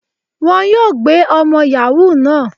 Wọ́n yóò gbé ọmọ Yahoo náà.